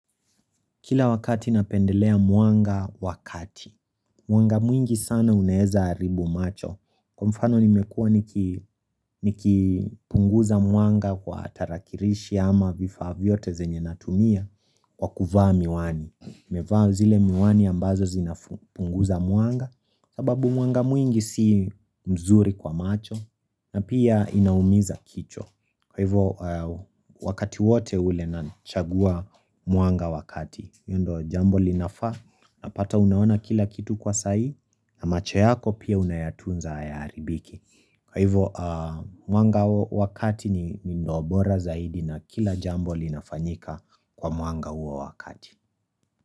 Kila wakati napendelea mwanga wa kati. Mwanga mwingi sana unaeza haribu macho kwa mfano nimekua niki nikipunguza mwanga kwa tarakirishi ama vifaa vyote zenye natumia kwa kuvaa miwani, nimevaa zile miwani ambazo zinafu punguza mwanga sababu mwanga mwingi si mzuri kwa macho na pia inaumiza kichwa kwa hivo a wakati wote ule nachagua mwanga wa kati hiyo ndio jambo linafa napata unaona kila kitu kwa saii. Na macho yako pia unayatunza hayaharibiki kwa hivyo a mwanga wa kati ni ndoo bora zaidi na kila jambo linafanyika kwa mwanga huo wa kati.